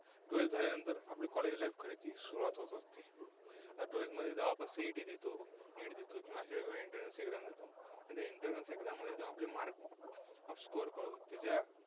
Twelfth झाल्यानंतर College life खरी सुरुवात होते. Twelfth जेव्हा आपण CET देतो NEET देतो किंवा entrance exam देतो, entrance exam मधील आपले mark score कळून